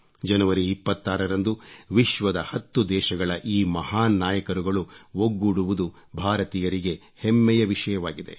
ಜನವರಿ 26 ರಂದು ವಿಶ್ವದ ಹತ್ತು ದೇಶಗಳ ಈ ಮಹಾನ್ ನಾಯಕರುಗಳು ಒಗ್ಗೂಡುವುದು ಭಾರತೀಯರಿಗೆ ಹೆಮ್ಮೆಯ ವಿಷಯವಾಗಿದೆ